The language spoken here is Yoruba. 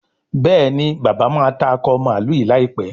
Béèni bàbá má tá Akọ mààlúù yí láìpé.